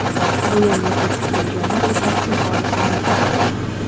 Bu yerga ko‘chib kelganlar ipoteka olishi mumkin.